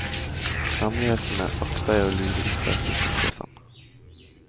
Hemmelighetene akter jeg å lure ut av kjøkkensjefen.